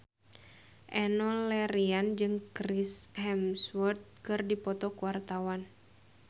Enno Lerian jeung Chris Hemsworth keur dipoto ku wartawan